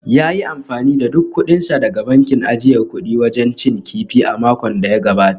Ya yi amfani da duk kudinsa daga bankin ajiyar kudi wajen cin kifi a makon da ya gabata